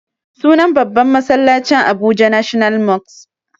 Sunan babban masallacin abuja national mosque